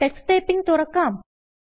Tux Typingതുറക്കാം